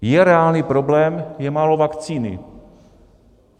Je reálný problém, je málo vakcíny.